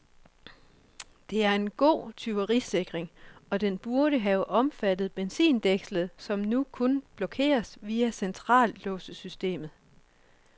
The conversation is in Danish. Det er en god tyverisikring, og den burde have omfattet benzindækslet, som nu kun blokeres via centrallåssystemet.